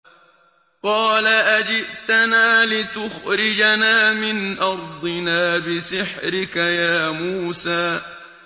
قَالَ أَجِئْتَنَا لِتُخْرِجَنَا مِنْ أَرْضِنَا بِسِحْرِكَ يَا مُوسَىٰ